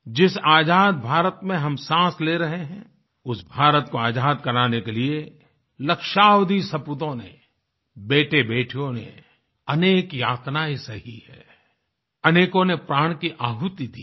जिस आज़ाद भारत में हम सांस ले रहे हैं उस भारत को आज़ाद कराने के लिए लक्ष्यावधि सपूतोंने बेटेबेटियों ने अनेक यातनाएं सही हैं अनेकों ने प्राण की आहुति दी है